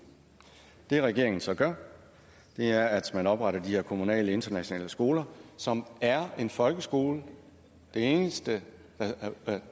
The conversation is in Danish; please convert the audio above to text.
det regeringen så gør er at man opretter de her kommunale internationale skoler som er en folkeskole det eneste